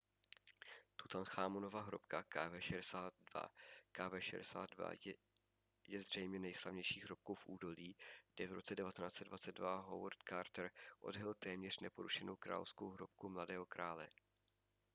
tutanchámonova hrobka kv62. kv62 je zřejmě nejslavnější hrobkou v údolí kde v roce 1922 howard carter odhalil téměř neporušenou královskou hrobku mladého krále